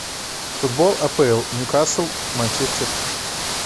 футбол апл ньюкасл манчестер